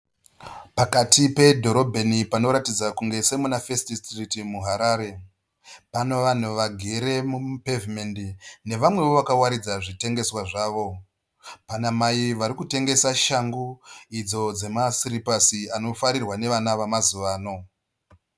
Pakati pedhorobheni panoratidza kunge semuna First Street muHarare. Pano vanhu vagere mupevhinendi nevamwewo vakawaridza zvitengeswa zvawo. Pana mai vari kutengesa shangu idzo dzemasiripasi anofarirwa nevana vamazuva ano.